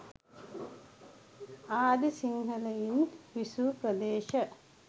ආදී සිංහලයින් විසූ ප්‍රදේශ